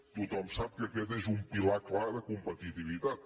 tothom sap que aquest és un pilar clar de competitivitat